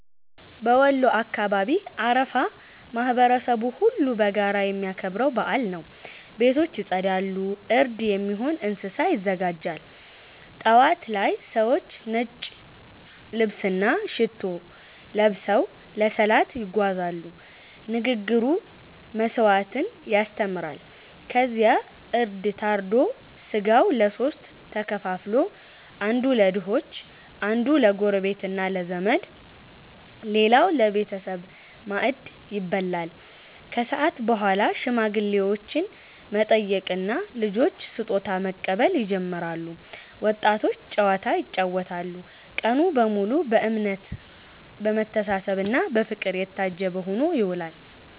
በወሎ አካባቢ አረፋ ማህበረሰቡ ሁሉ በጋራ የሚያከብረው በዓል ነው። ቤቶች ይጸዳሉ፣ እርድ የሚሆን እንስሳ ይዘጋጃል። ጠዋት ላይ ሰዎች ነጭ ልብስና ሽቶ ለብሰው ለሰላት ይጓዛሉ፤ ንግግሩ መስዋዕትነትን ያስተምራል። ከዚያ እርድ ታርዶ ሥጋው ለሦስት ተከፍሎ፦ አንዱ ለድሆች፣ አንዱ ለጎረቤትና ለዘመድ፣ ሌላው ለቤተሰብ ማዕድ ይበላል። ከሰዓት በኋላ ሽማግሌዎችን መጠየቅና ልጆች ስጦታ መቀበል ይጀምራል፤ ወጣቶች ጨዋታ ይጫወታሉ። ቀኑ በሙሉ በእምነት፣ በመተሳሰብና በፍቅር የታጀበ ሆኖ ይውላል።